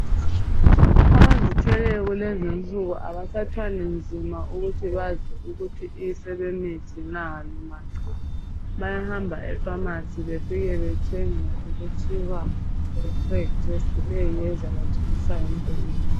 Abazithweleyo kulezi insuku abasathwali nzima ukuthi bazi ukuthi sebemithi loba cha. Bayahamba epharmacy bayethenga okuthiwa yipreg test . Eyiyo ezabatshengisa yonke into.